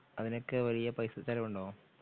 അതിനൊക്കെ വലിയ പൈസ ചിലവുണ്ടോ?